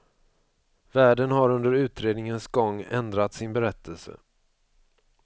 Värden har under utredningens gång ändrat sin berättelse.